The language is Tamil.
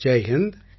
ஜெய் ஹிந்த்